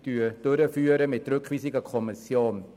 Ich beantrage dabei die Rückweisung an die Kommission.